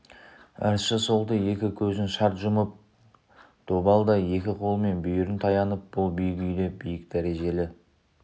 ыршы солты екі көзін шарт жұмып добалдай екі қолымен бүйірін таянып бұл биік үйде биік дәрежелі